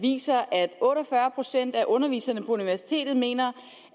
viser at otte og fyrre procent af underviserne på universitetet mener